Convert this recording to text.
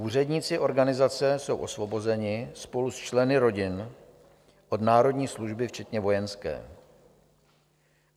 Úředníci organizace jsou osvobozeni spolu s členy rodin od národní služby včetně vojenské.